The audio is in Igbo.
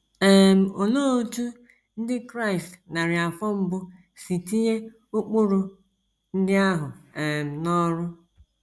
um Olee otú Ndị Kraịst narị afọ mbụ si tinye ụkpụrụ ndị ahụ um n’ọrụ?